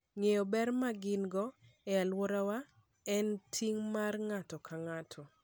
Ng'eyo ber ma gin - go e alworawa en ting' mar ng'ato ka ng'ato.